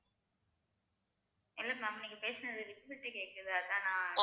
இல்ல ma'am நீங்க பேசுனது விட்டுவிட்டு கேக்குது அதான் நான்